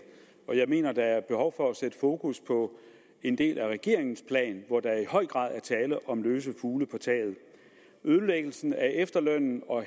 og jeg mener der er behov for at sætte fokus på en del af regeringens plan hvor der i høj grad er tale om fugle på taget ødelæggelsen af efterlønnen og